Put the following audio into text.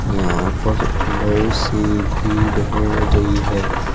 यहां पर बहुत सी भीड़ हो रही है।